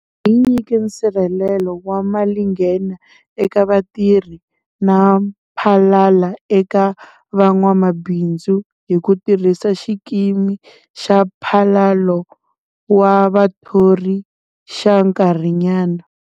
Hi nyike nsirhelelo wa malinghena eka vatirhi na mphalalo eka van'wamabindzu hi ku tirhisa Xikimi xa Mphalalo wa Vathori xa Nkarhinyana.